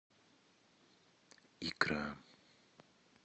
икра